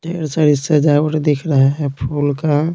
ढेर सारी सजावट दिख रहा है फूल का।